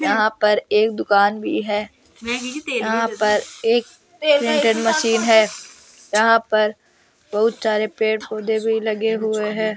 यहां पर एक दुकान भी है यहां पर एक प्रिंटर मशीन है यहां पर बहुत सारे पेड़ पौधे भी लगे हुए है।